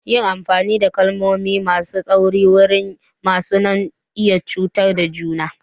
Yin amfani da kalmomi masu tsauri wurin musu na iya cutar da juna.